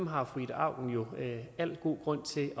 har fru ida auken al god grund til